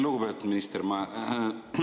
Lugupeetud minister!